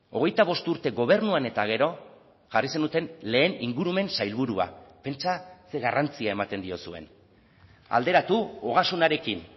hogeita bost urte gobernuan eta gero jarri zenuten lehen ingurumen sailburua pentsa ze garrantzia ematen diozuen alderatu ogasunarekin